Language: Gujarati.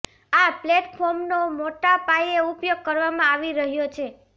આ પ્લેટફોર્મનો મોટા પાયે ઉપયોગ કરવામાં આવી રહ્યો છે